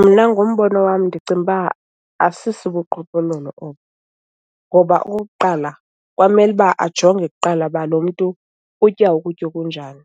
Mna ngombono wam ndicinga uba asisibuqhophololo obu ngoba okokuqala kwamele uba ajonge kuqala uba lo mntu utya ukutya okunjani.